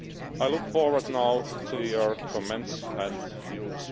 I look forward now to your comments and views.